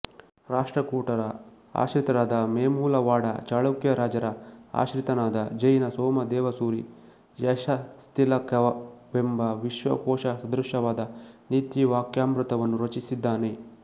ರಾಷ್ಟ್ರಕೂಟರ ಆಶ್ರಿತರಾದ ವೇಮುಲವಾಡ ಚಾಳುಕ್ಯರಾಜರ ಆಶ್ರಿತನಾದ ಜೈನ ಸೋಮದೇವಸೂರಿ ಯಶಸ್ತಿಲಕವೆಂಬ ವಿಶ್ವಕೋಶಸದೃಶವಾದ ನೀತಿವಾಕ್ಯಾಮೃತವನ್ನೂ ರಚಿಸಿದ್ದಾನೆ